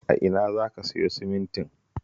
A ina za ka siyo simintin?